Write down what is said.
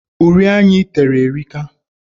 Uri anya ị tere erika.